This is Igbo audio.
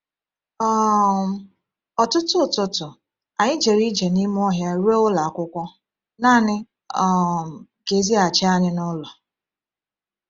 um Ọtụtụ ụtụtụ, anyị jere ije n’ime ọhịa ruo ụlọ akwụkwọ—naanị um ka e zighachi anyị n’ụlọ.